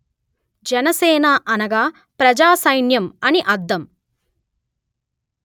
జన సేన అనగా ప్రజా సైన్యం అని అర్థం